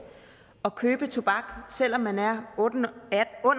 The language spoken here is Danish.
at købe tobak selv om man er under